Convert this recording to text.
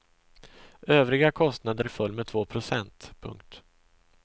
Övriga kostnader föll med två procent. punkt